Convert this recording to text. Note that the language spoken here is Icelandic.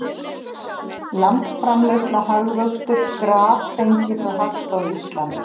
Landsframleiðsla, hagvöxtur, graf fengið frá Hagstofu Íslands.